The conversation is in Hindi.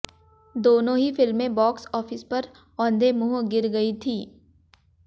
दोनों ही फिल्में बॉक्स ऑफिस पर औंधे मुंह गिर गई थीं